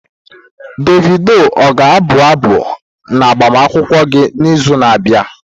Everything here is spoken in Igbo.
Davidi ọ ga-abụ abụ n'agbamakwụkwọ gị n'izu na-abịa?